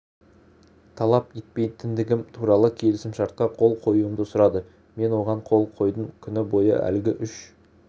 талап етпейтіндігім туралы келісімшартқа қол қоюымды сұрады мен оған қол қойдым күні бойы әлгі үш